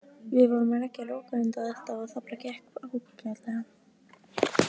Við vorum að leggja lokahönd á þetta og það gekk bara ágætlega.